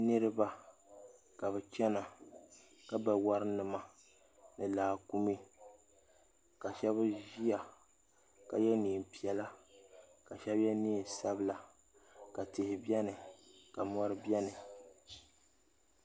niriba ka be chɛna ka ba warinima ni laakumi ka shɛbi ʒɛ ka yɛ nɛɛ piɛla ka shɛbi yɛ nɛnsabila ka tihi bɛni ka mori bɛni